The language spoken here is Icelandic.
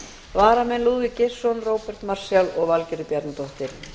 varamenn eru lúðvík geirsson róbert marshall og valgerður bjarnadóttir